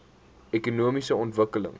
ekonomiese ontwikkeling